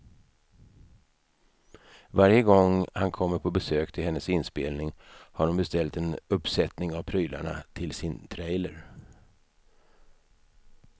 Varje gång han kommer på besök till hennes inspelning har hon beställt en uppsättning av prylarna till sin trailer.